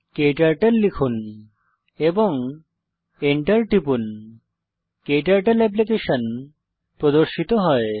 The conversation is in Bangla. ক্টার্টল লিখুন এবং enter টিপুন ক্টার্টল অ্যাপ্লিকেশন প্রর্দশিত হয়